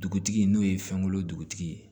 Dugutigi n'o ye fɛn kolo dugutigi ye